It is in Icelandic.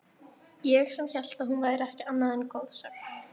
Ég sem hélt að hún væri ekki annað en goðsögn.